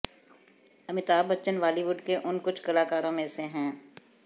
Amitabh Bachchan Bollywood के उन कुछ कलाकारों में से हैं